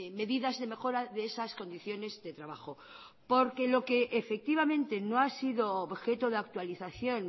medidas de mejora de esas condiciones de trabajo porque lo que efectivamente no ha sido objeto de actualización